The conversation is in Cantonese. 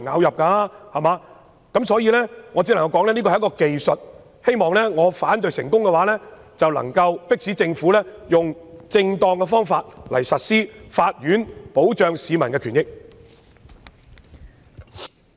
如果我能夠成功廢除有關命令的話，希望可以迫使政府採用正當的方法，利用法院保障市民的權益。